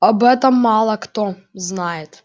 об этом мало кто знает